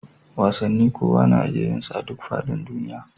Wasanni kowa na iya yinsa a duk faɗin duniya